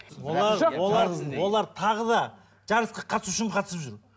олар олар олар тағы да жарысқа қатысу үшін қатысып жүр